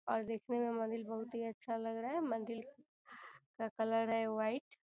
और देकने में मंदिर बहुत ही अच्छा लग रहा है मंदिर का कलर है वाइट ।